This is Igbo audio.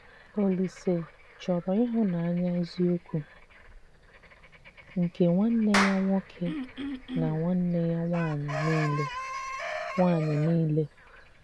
Òlísè chọ́rọ ịhụ́nanya eziokwu nke nwanne ya nwoke na nwanne ya nwanyị niile. nwanyị niile.